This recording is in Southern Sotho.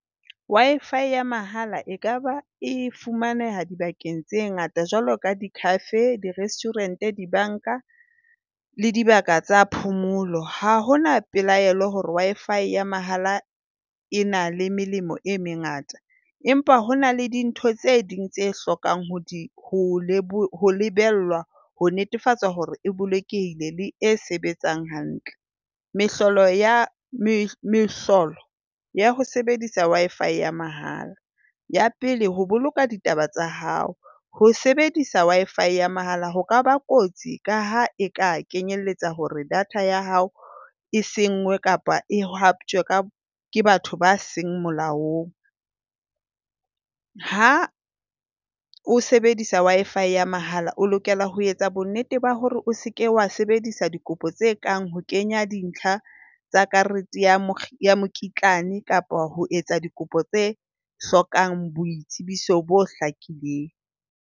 Wi-Fi ya mahala ekaba e fumaneha dibakeng tse ngata jwalo ka di-cafe, di-restaurant, dibanka le dibaka tsa phomolo. Ha ho na pelaelo hore Wi-Fi ya mahala e na le melemo e mengata empa ho na le dintho tse ding tse hlokang ho di ho lebellwa ho netefatsa hore e bolokehile le e sebetsang hantle. Mehlolo ya mehlolo ya ho sebedisa Wi-Fi ya mahala. Ya pele, ho boloka ditaba tsa hao. Ho sebedisa Wi-Fi ya mahala ho ka ba kotsi ka ha e ka kenyelletsa hore data ya hao e senngwe kapa e haptjwe ka ke batho ba seng molaong. Ha o sebedisa Wi-Fi ya mahala o lokela ho etsa bonnete ba hore o se ke wa sebedisa dikopo tse kang ho kenya dintlha tsa karete ya mokitlane, kapa ho etsa dikopo tse hlokang boitsebiso bo hlakileng.